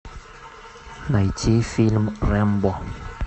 найти фильм рэмбо